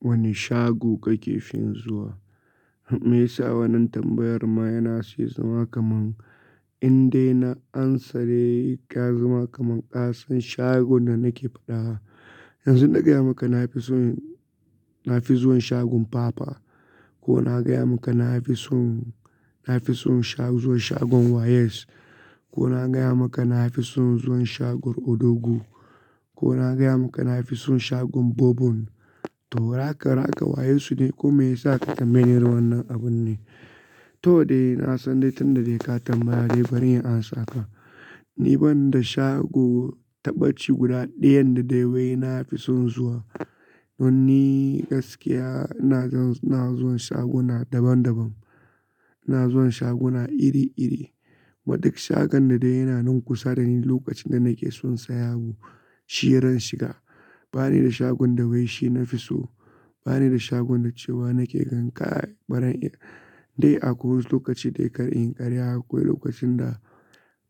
Wane shago kake fin zuwa? Me yasa wannan tambayar ma yana siyi zama kaman in dai na amsa dai, ya zama kaman kasan shagon da nake faɗa. Yanzu na gaya maka na fi son, na fi zuwan shagon Papa ko na gaya maka na fi son, na fi son sha zuwa shagon Wayes ko na gaya maka na fi son zuwan shagon Odogwu ko na gaya maka na fi son shagon Bobon. To raka-raka wayes su ne ko me yasa ka tambaye wannan abun ne? To dai na san dai tunda dai ka tambaya dai bari in amsa kawai. Ni ban da shago tabbaci guda ɗayan da dai wai na fi son zuwa. Don ni gaskiya ina, na zuwan shaguna daban-daban, ina zuwan shaguna iri-iri. Kuma duk shagon da dai yana nan kusa da ni lokacin da nake son saya abu, shi ran shiga. Ba ni da shagon da wai shi na fi so, ba ni da shagon da cewa nake ganƙar baran. Dai akwai wasu lokaci dai kar in karya, akwai lokacin da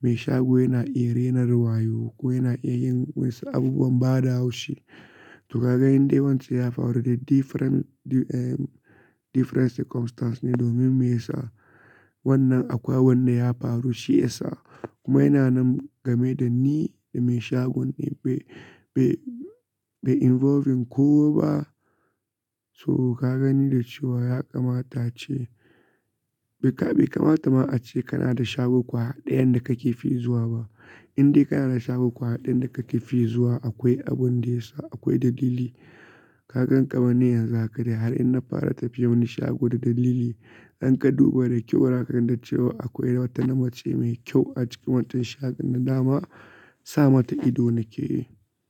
mai shago yana iya renar wayo ko yana iya yin wa'yansu abubuwan bada haushi. To ka ga in dai wance ya faru da different, different circumstance ne domin me yasa wannan akwai abunda ya faru shi ya sa. Kuma yana nan game da ni da mai shagon ne bai, bai, bai involving kowa ba. To ka gani da cewa ya kamata ace bai kamata ma ace kana da shago ƙwaya ɗayan da kake fin zuwa ba. In dai kana da shago kuwa ɗayan da kake fi zuwa akwai abun da ya sa, akwai dalili. Ka gan kamanni yanzu haka dai har in na fara tafiya wani shago da dalili, idan ka duba da kyau zakanda cewa akwai wata na mace mai kyau a cikin wancan shagon nan dama sa mata ido nake yi.